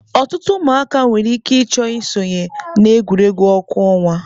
Ọtụtụ ụmụaka nwere ike ịchọ isonye na egwuregwu ọkụ ọnwa.